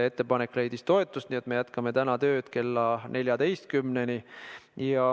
Ettepanek leidis toetust, nii et me jätkame täna tööd kella 14-ni.